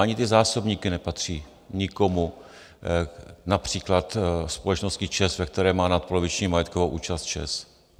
Ani ty zásobníky nepatří nikomu, například společnosti ČEZ, ve které má nadpoloviční majetkovou účast ČEZ.